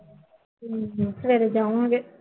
ਸਵੇਰੇ ਜਾਾਵਾਂਗੇ